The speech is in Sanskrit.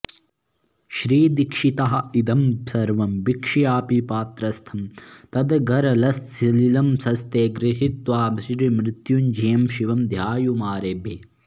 श्रीदीक्षितः इदं सर्वं वीक्ष्यापि पात्रस्थं तद्गरलसलिलं हस्ते गृहीत्वा श्रीमृत्युञ्जयं शिवं ध्यातुमारेभे